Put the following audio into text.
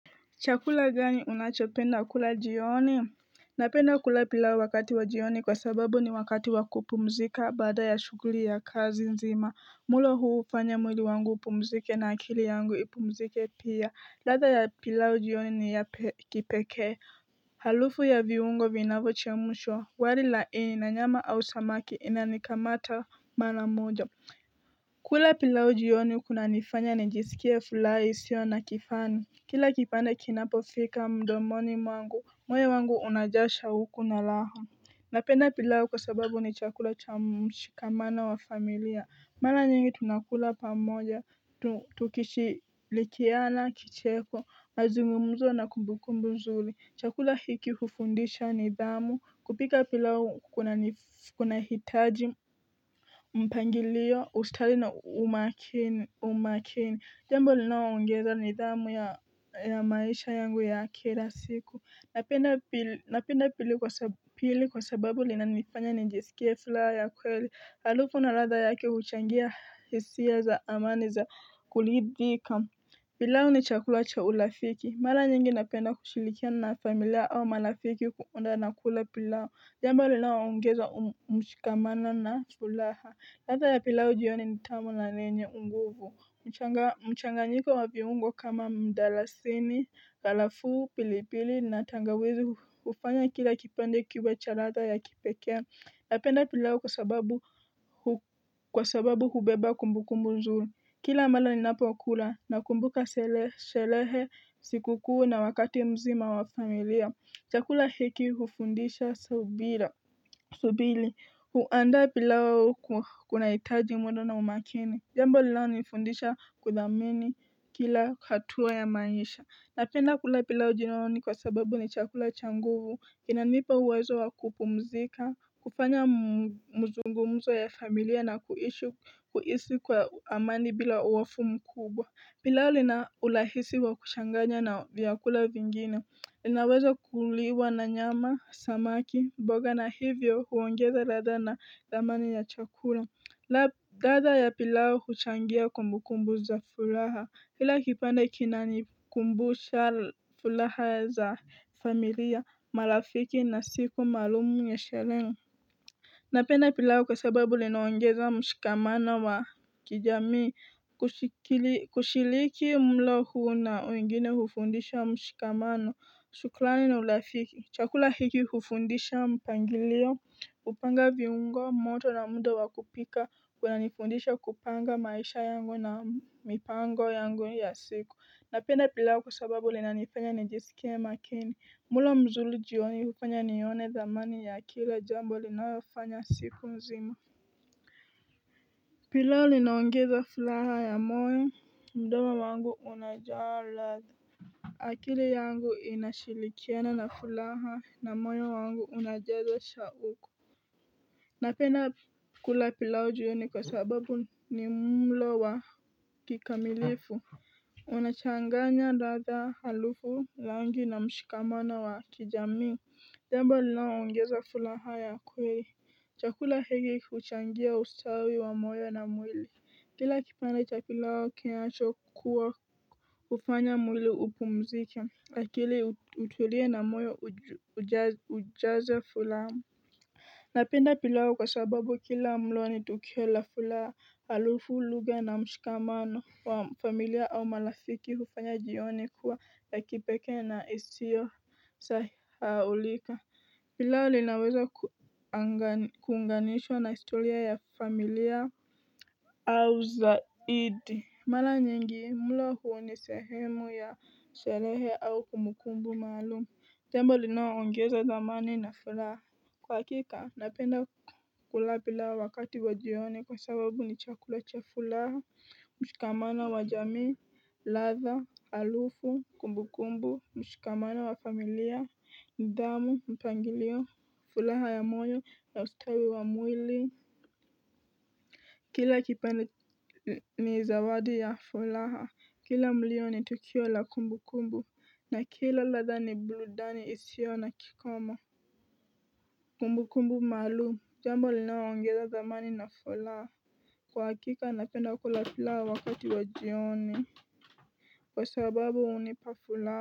Chakula ganyi unachopenda kula jioni Napenda kula pilau wakati wa jioni kwa sababu ni wakati wakupumzika baada ya shuguli ya kazi nzima mulo huu upanya mwili wangu upumzike na akili yangu ipumzike pia latha ya pilau jioni ni ya kipeke Halufu ya viungo vinavo chemushwa wali laini na nyama au samaki inanikamata mana mojo kula pilau jioni kuna nifanya nijisikia fulais yo nakifani Kila kipande kinapo fika mdomoni mwangu moe wangu unajasha huku na laha Napenda pilau kwa sababu ni chakula cha mshikamana wa familia Mala nyingi tunakula pamoja tukishilikiana kicheko mazumumuzo na kumbukumbuzuli chakula hiki hufundisha nidhamu kupika pilau kuna hitaji Mpangiliyo ustali na umakini umakini Jambo linawa ungeza nidhamu ya maisha yangu ya kera siku Napenda pili kwa sababu lina nifanya nijisikia fila ya kweli Haruku naradha yake huchangia hisia za amani za kulidika Pilawo ni chakula cha ulafiki Mala nyingi napenda kushilikia na familia au malafiki kuunda nakula pilawo jamba linawaongeza umchikamana na chulaha latha ya pilau jioni nitamu lanenye unguvu mchanganyika wa viungwa kama mdalasini galafu pilipili na tangawizi ufanya kila kipende kiwe cha latha ya kipekea lapenda pilau kwa sababu kwa sababu hubeba kumbu kumbu nzulu kila mala ni napo wakula na kumbuka selehe siku kuu na wakati mzima wa familia chakula heki hufundisha subili, huanda pilao kuna itaji mwendo na umakini. Jambo lilao nifundisha kudhamini kila katua ya maisha. Napenda kula pilao jinooni kwa sababu ni chakula changuvu. Inanipa uwezo wakupumzika, kupanya mzungumzo ya familia na kuisi kwa amani bila uwafumu kubwa. Pilao linaulahisi wa kushanganya na vyakula vingine. Linaweza kuliwa na nyama samaki mboga na hivyo huwangeza rada na damani ya chakura la dada ya pilao huchangia kumbu kumbu za furaha hila kipande kinani kumbu za furaha za familia marafiki na siku marumu nyesherenga napena pilao kasababu linawangeza mshikamana wa kijami kushiliki mlohu na uingine hufundisha mshikamana shuklani na ulafiki chakula hiki hufundisha mpangiliyo upanga viungo moto na mundo wa kupika kwa na nifundisha kupanga maisha yangu na mipango yangu ya siku napenda pila kwa sababu linanifanya nijiskema kini mula mzulu jioni hufanya niyone zamani ya akile jambo linayofanya sifu nzima pila linangiza fulaha ya moyo ndoma wangu una jala akili yangu inashilikena na fulaha na mwyo wangu unajedwa sha uko Napena kula pilawo juyo ni kwa sababu ni mlo wa kikamilifu Unachanganya rada halufu langi na mshikamana wa kijami Demba lina ungeza fulaha ya kwee chakula higi uchangia ustawi wa mwyo na mwili Kila kipanda cha pilawo kienacho kuwa kufanya mwili upu mzike Lakili utulie na moyo ujaze fulamu Napinda pilawo kwa sababu kila mlo ni tukiola fulamu halufu luga na mshukamano wa familia au malafiki hufanya jioni kuwa la kipeke na isiyo saaulika Pilawo linaweza kuunganisho na istoria ya familia au zaidi Mala nyingi, mula huo ni sehemu ya selehe au kumbukumbu maalum, tembo linawa ongeza zamani na fulaha. Kwa kika, napenda kulapila wakati wadiyone kwa sababu ni chakula cha fulaha, mshikamana wajami, latha, alufu, kumbukumbu, mshikamana wafamilia, ndamu, mpangilio, fulaha ya monyo, na ustawi wa mwili. Kila kipenda ni zawadu ya fulaha Kila mlio ni tukio la kumbu kumbu na kila laza ni bludani isio na kikoma Kumbu kumbu malu Jambo linawaangeza zamani na fulaha Kwa kika napenda kula fulaha wakati wa jioni Kwa sababu unipa fulaha.